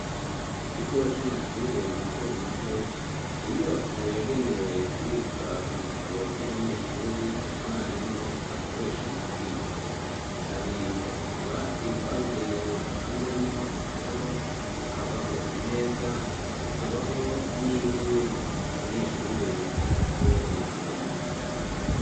Mu kigo c'amashure mato mato ni inyubako yagenewe kubika ibitabo vy'abanyeshuri na mwarimu bakoresha mu kwiga hari utubati twabugenewe dupanzemwo ibitabo hakabaho imeza hakabaho n'intebe abanyeshuri bicara ko bo bari gusoma.